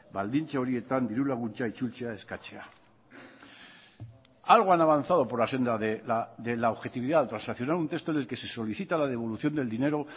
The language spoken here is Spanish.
baldintza horietan diru laguntza itzultzea eskatzea algo han avanzado por la senda de la objetividad transaccionar un texto en el que se solicita la devolución del dinero